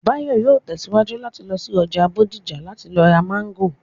Báyọ̀ yóò tẹ̀síwájú láti lọ sí ọjà Bódìjà láti lọ ra Máńgò